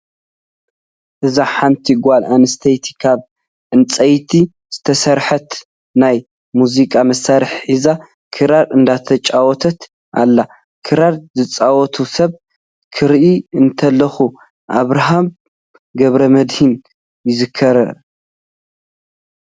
እዛ ሓንቲ ጓል ኣነስተይቲ ካብ ዕንፀይቲ ዝተሰርሐት ናይ ሙዚቃ መሳሪሒ ሒዛ ክራክ እንዳተጫወተት ኣላ። ክራር ዝፃወት ሰብ ክርኢ እንተለኩ ኣብራሃብ ገብረመድሂን ይዝክር።